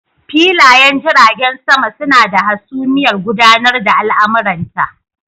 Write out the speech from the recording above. Filayen jiragen sama suna da hasumiyar gudanar da al'amuranta.